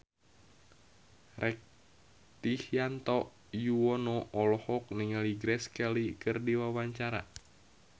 Rektivianto Yoewono olohok ningali Grace Kelly keur diwawancara